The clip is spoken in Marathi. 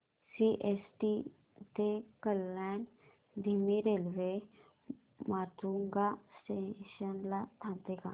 सीएसटी ते कल्याण धीमी रेल्वे माटुंगा स्टेशन ला थांबते का